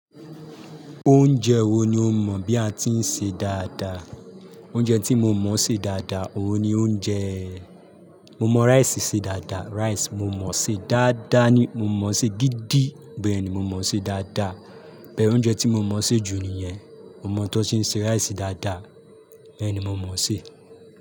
Oúnjẹ wo ni ó mọ̀ bí a ti ń ṣe dáadáa? Oúnjẹ tí mo mọ̀ ṣe dáadáa, òun ni oúnjẹ Mo mọ̀ rice ṣe dáadáa. Rice mo mọ̀ ṣe dáadáa ni. Mo mọ̀ ṣe gidi. Bẹ́ẹ̀ ni mo mọ̀ ṣe dáadáa. Bee oúnjẹ tí mo mọ̀ ṣe jù nìyẹn. Mo mọ̀ bí wọ́n ti ń ṣe se rice dáadáa. Bẹ́ẹ̀ ni mo mọ̀ ṣe.